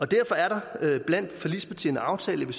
derfor er det blandt forligspartierne aftalt at